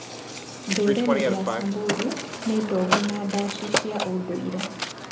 Ndũrĩrĩ ya Samburu nĩ ndongu na ndacicia ũndũire.